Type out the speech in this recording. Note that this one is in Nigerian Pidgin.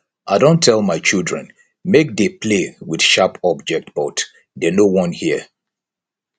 i don tell my children make dey play with sharp object but dey no wan hear